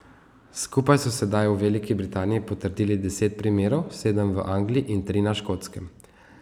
Skupaj so sedaj v Veliki Britaniji potrdili deset primerov, sedem v Angliji in tri na Škotskem.